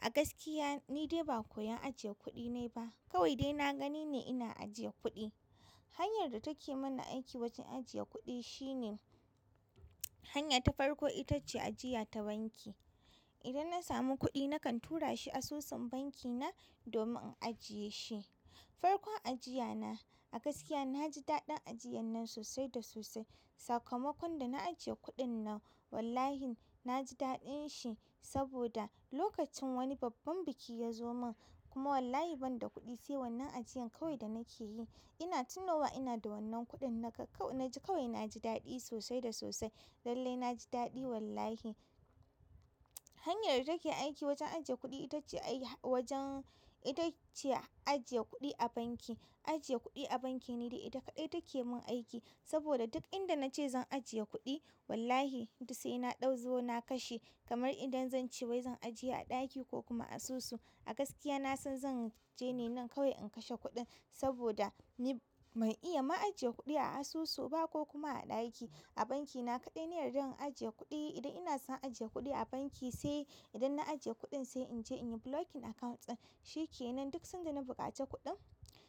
A gaskiya ni dai ba koyan ajiye kuɗi ne ba. Kawai dai na gani ne ina ajiye kuɗi. Hanyar da take mana aiki wajen ajiye kuɗi shine hanya ta farko ita ce ajiya ta banki. Idan na samu kuɗi na kan tura shi asusun banki na domin in ajiye shi. Farkon ajiya na a gaskiya naji daɗin ajiyan nan sosai da sosai. Sakamakon da na ajiye kuɗin nan wallahi na ji daɗin shi saboda lokacin wani babban biki ya zo man kuma wallahi ban da kuɗi sai wannan ajiyan kawai da nake yi. Ina tunowa ina da wannan kuɗin na ji kawai na ji daɗi sosai da sosai. Lallai na ji daɗi wallahi. Hanyar da take aiki wajen ajiye kuɗi ita ce a yi wajen ita ce ajiye kuɗi a banki. Ajiye kuɗi a banki ne dai ita kaɗai take mun aiki saboda duk inda na ce zan ajiye kuɗi wallahi sai na ɗauzo na kashe. Kamar idan zan ce wai zan ajiye a ɗaki ko kuma a asusu a gaskiya na san zan je ne nan kawai in kashe kuɗin saboda ni ban iya ma ajiye kuɗi a asusu ba ko kuma a ɗaki. A banki na kaɗai ne na yarda in ajiye kuɗi. Idan ina son ajiye kuɗi a banki sai idan na ajiye kuɗin sai in je in yi blocking account ɗin. Shi ke nan duk sanda na buƙaci kuɗin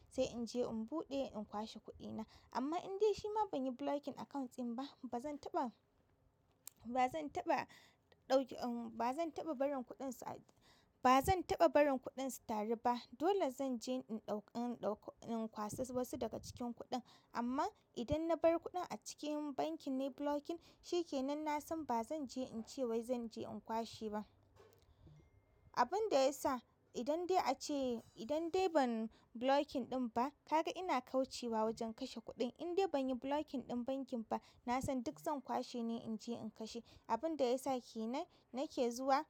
sai in je in buɗe in kwashe kuɗina. Amma in dai shi ma ban yi blocking account ɗin ba ba zan taɓa, ba zan taɓa ɗauki, ba zan taɓa barin kuɗin su, ba zan taɓa barin kuɗin su taru ba. Dole zan je in ɗauka, in kwaso wasu daga cikin kuɗin. Amma idan na bar kuɗin a cikin bankin ne blocking shi ke nan na san ba zan je in ce wai zan je in kwashe ba. Abin da ya sa idan dai a ce idan dai ban blocking ɗin ba kaga ina kaucewa ba wajen kashe kuɗin. Indai banyi blocking din bankin ba nasan duk zan kwashe ne in kashe. Abin da ya sa ke nan nake zuwa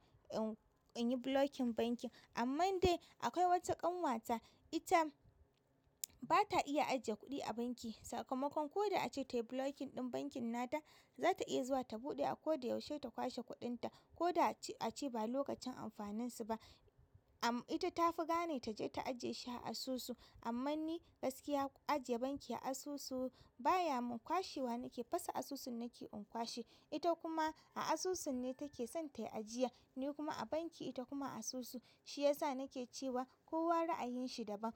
in yi blocking bankin. Amman dai akwai wata ƙanwata ita ba ta iya ajiye kuɗi a banki. Sakamakon ko da a ce tayi blocking ɗin bankin na ta, za ta iya zuwa ta buɗe a ko da yaushe ta kwashe kuɗin ta. Koda ace ba lokacin amfanin su ba ah amma ita ta fi gane ta je ta ajiye shi a asusu. Amman ni gaskiya ajiye banki a asusu baya kwashewa nake fasa asusun nake in kwashe. Ita kuma a asusun ne take son tayi ajiya. Ni kuma a banki ita kuma a asusu. Shi ya sa nake cewa kowa ra'ayin shi daban.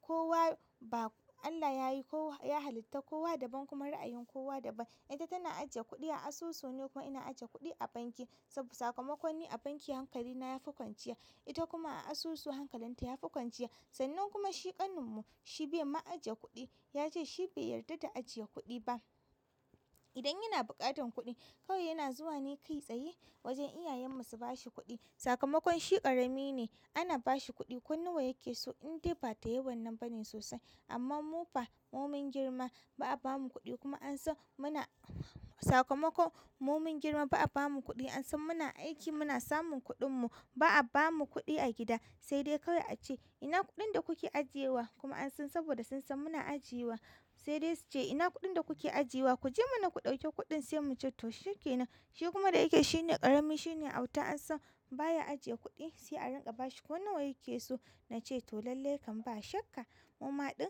Kowa ba Allah yayi ko ya halitta kowa daban kuma ra'ayin kowa daban. Ita tana ajiye kuɗi a asusu nikuma ina ajiyewa a banki saboda sakamakon ni a banki hankali na yafi kwanciya. Ita kuma a asusu hankalin ta yafi kwanciya. Sannan kuma shi ƙanin mu shi bai ma ajiye kuɗi. Ya ce shi bai yarda da ajiye kuɗi ba. Idan yana buƙatar kuɗi kawai yana zuwa ni kai tsaye wajen iyayen mu su bashi kuɗi. Sakamakon shi ƙarami ne ana bashi kuɗi. Ko nawa yakeso indai ba da yannan bane sosai amma mu fa mu mun girma ba a bamu kuɗi kuma an san muna sakamakon mu mun girma ba a bamu kuɗi an san muna aiki muna samun kuɗin mu. Ba a bamu kuɗi a gida sai dai kawai a ce ina kuɗin da kuke ajiyewa kuma an san saboda sun san muna ajiyewa sai dai su ce ina kuɗin da kuke ajiyewa ku je mana ku ɗauki kuɗin sai muce to shi ke nan. Shi kuma da yake shine ƙarami shine auta an san baya ajiye kuɗi sai a rinƙa bashi ko nawa yake so. Na ce to lallai kam ba shakka mu maɗin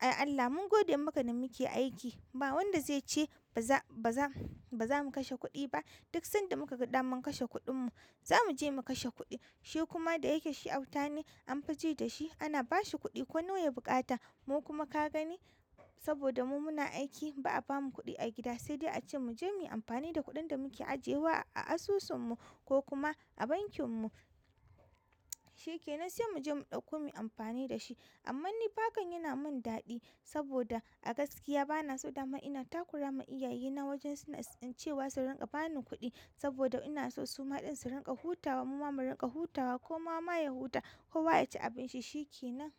Allah mun gode maka da muke aiki. Ba wanda zai ce baza, baza, bazamu kashe kuɗi ba. Duk sanda muka gadamann kashe kuɗin mu. Zamu je mu kashe kuɗi. Shi kuma da yake shi auta ne an fi ji da shi ana bashi kuɗi ko nawa ya buƙata. Mu kuma ka gani saboda mu muna aiki ba a bamu kuɗi a gida sai dai a ce mu je mu yi amfani da kuɗin da muke ajiyewa a asusun mu ko kuma a bankin mu. Shi kenan sai mu je mu ɗakko mu yi amfani da shi. Amma ni fa hakan yana mun daɗi saboda a gaskiya bana so dama ina takurama iyaye na wajen suna cewa su rinƙa bani kuɗi saboda ina so su maɗin su rinƙa hutawa mu ma mu rinƙa hutawa ko ma ma ya huta ko wa ya ci abin shi shi ke nan.